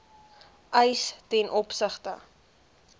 eis ten opsigte